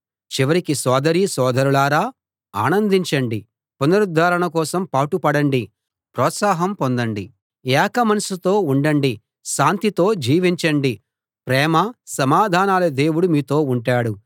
చివరికి సోదరీ సోదరులారా ఆనందించండి పునరుద్ధరణ కోసం పాటు పడండి ప్రోత్సాహం పొందండి ఏక మనసుతో ఉండండి శాంతితో జీవించండి ప్రేమ సమాధానాల దేవుడు మీతో ఉంటాడు